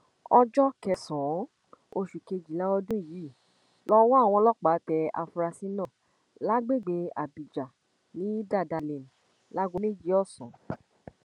ọjọ kẹsànán oṣù kejìlá ọdún yìí lowó àwọn ọlọpàá tẹ àfúrásì náà lágbègbè abíjà ní dada lane láago méjì ọsán